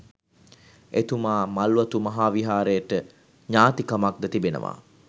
එතුමා මල්වතු මහා විහාරයට ඥාතිකමක්ද තිබෙනවා